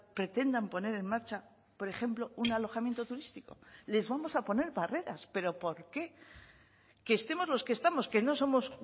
pretendan poner en marcha por ejemplo un alojamiento turístico les vamos a poner barreras pero por qué que estemos los que estamos que no somos